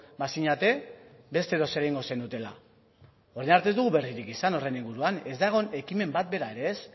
bazinete beste edozer egingo zenutela orain arte ez dugu berririk izan horren inguruan ez dago ekimen bat bera ere ez